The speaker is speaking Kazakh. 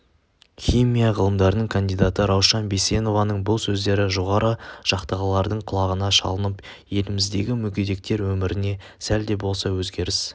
химия ғылымдарының кандидаты раушан бейсенованың бұл сөздері жоғарғы жақтағылардың құлағына шалынып еліміздегі мүгедектер өміріне сәл де болса өзгеріс